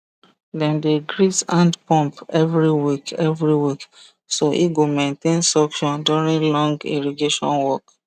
dem dey grease hand pump every week every week so e go maintain suction during long irrigation work